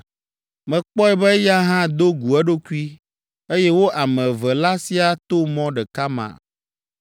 Mekpɔe be eya hã do gu eɖokui, eye wo ame eve la siaa to mɔ ɖeka ma.